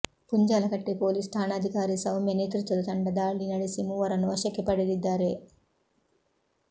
Punjalkatte police ಠಾಣಾಧಿಕಾರಿ ಸೌಮ್ಯ ನೇತೃತ್ವದ ತಂಡ ದಾಳಿ ನಡೆಸಿ ಮೂವರನ್ನು ವಶಕ್ಕೆ ಪಡೆದಿದ್ದಾರೆ